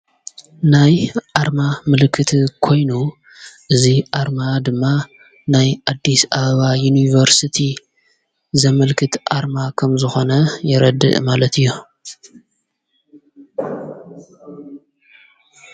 ናይ ኣርማ ምልክት ኮይኑ እዙይ ኣርማ ድማ ናይ ኣዲስ ኣበባ ዩኒቨርስቲ ዘምልክት ኣርማ ኸም ዝኾነ የረድእ ማለት እዩ፡፡